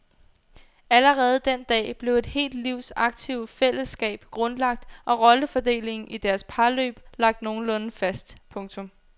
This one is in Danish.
Allerede den dag blev et helt livs aktive fællesskab grundlagt og rollefordelingen i deres parløb lagt nogenlunde fast. punktum